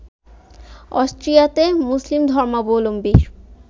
অস্ট্রিয়াতে মুসলিম ধর্মাবলম্বীর